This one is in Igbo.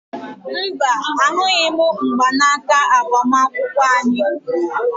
Mba, ahụghị m mgbanaka agbamakwụkwọ anyị